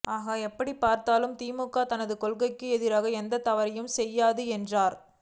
ஆக எப்படிப் பார்த்தாலும் திமுக தனது கொள்கைக்கு எதிராக எந்த தவறையும் செய்யாது என்றார்